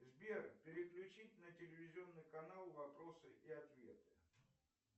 сбер переключить на телевизионный канал вопросы и ответы